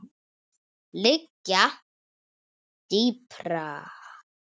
liggja dýpra.